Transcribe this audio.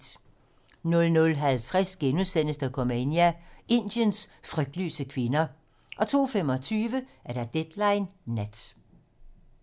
00:50: Dokumania: Indiens frygtløse kvinder * 02:25: Deadline nat